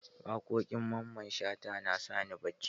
Waƙoƙin Mamman Shata na sani bacci.